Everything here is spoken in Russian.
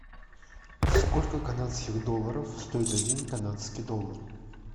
сколько канадских долларов стоит один канадский доллар